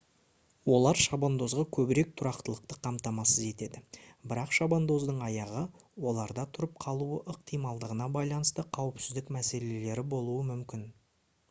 олар шабандозға көбірек тұрақтылықты қамтамасыз етеді бірақ шабандоздың аяғы оларда тұрып қалуы ықтималдығына байланысты қауіпсіздік мәселелері болуы мүмкін